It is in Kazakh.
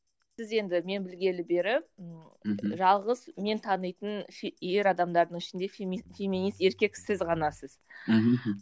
сіз енді мен білгелі бері ммм мхм жалғыз мен танитын ер адамдардың ішінде феминист еркек сіз ғанасыз мхм